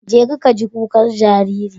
Jeka ka ji kukar jariri.